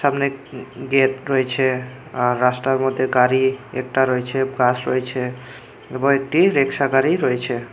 অনেক গেট রয়েছে আর রাস্তার মধ্যে গাড়ি একটা রয়েছে ঘাস রয়েছে এরপর একটি রিক্সা গাড়ি রয়েছে।